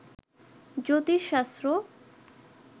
জ্যোতিষশাস্ত্র